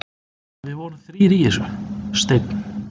Við vorum þrír í þessu: Steinn